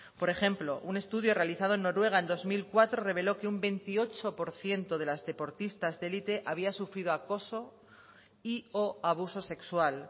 por ejemplo un estudio realizado en noruega en dos mil cuatro reveló que un veintiocho por ciento de las deportistas de élite había sufrido acoso y o abuso sexual